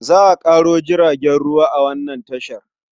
Za a ƙaro jiragen ruwa a wannan tashar.